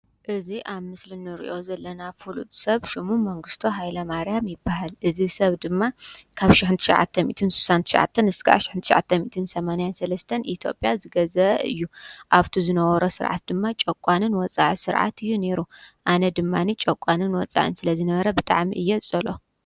እዙይ ኣብ ምስል ንርዮ ዘለናብ ፍሉብ ሰብ ሹሙ መንገሥቶ ሃይለ ማርያም ይበሃል እዝይ ሰብ ድማ ካብ ሽሕዓተ ትን ሳዓተን ሕንዓተ ሚትን ሰማንያን ሠለስተን ኢቲጴያ ዝገዘ እዩ ኣብቲ ዝነወሮ ሥርዓት ድማ ጨቋንን ወፃኢ ሥርዓት እዩ ነይሩ ኣነ ድማኒ ጨቋንን ወፃእን ስለ ዝነበረ ብጥዓሚ እየጸሎ።